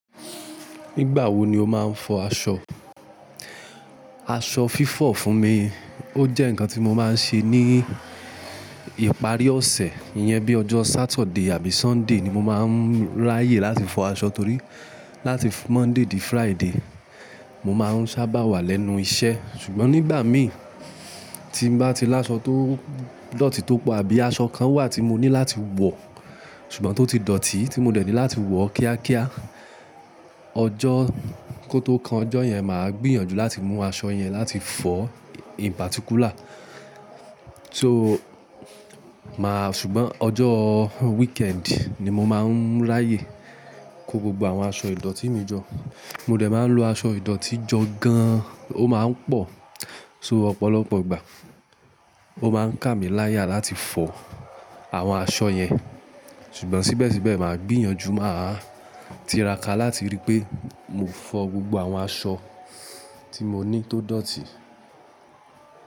Nígbà wo ni ó ma ń fọ aṣọ? Aṣọ fífọ̀ fún mi, ó jẹ́ ǹkan tí mo máa ń ṣe ní ìparí ọ̀sẹ̀. Iyẹn bí ọjọ́ Saturday àbí Sunday ni mo máa ń ráyè láti fọ aṣọ torí láti Monday dé Friday, mo máa ń sábà wà lẹ́nu iṣẹ́. Ṣùgbọ́n nígbà mi tí mo bá ti lá aṣọ tó dọ̀tí tó pọ̀ àbí aṣọ kan wà tí mo ní láti wọ̀, ṣùgbọ́n tó ti dọ̀tí tí mo dẹ̀ tí láti wọ̀ kíákíá, ọjọ́ kó tó kan ọjọ́ yẹn, màá gbìyànjú láti mú aṣọ yẹn láti fọ̀ in particular. So máa-- ṣùgbọ́n ọjọ́ weekend ni mo máa ń ráyè kó gbogbo àwọn aṣọ ìdọ̀tí mi jọ. Mo dẹ̀ máa ń lo aṣọ ìdọ̀tí jọ gan-an, ó máa ń pọ̀, so ọ̀pọ̀lọpọ̀ ìgbà ó máa ń kàmí láyà láti fọ àwọn aṣọ yẹn. Ṣùgbọ́n síbẹ̀síbẹ̀ màá gbìyànjú, màá tiraka láti rí pé mo fọ gbogbo àwọn aṣọ tí mo ní tó dọ̀tí.